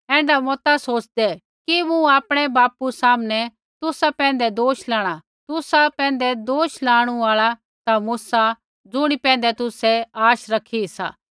ऐण्ढा मता सोच़दे कि मूँ आपणै बापू सामनै तुसा पैंधै दोष लाणा तुसा पैंधै दोष लाणु आल़ा ता मूसा ज़ुणी पैंधै तुसै आश रैखी सा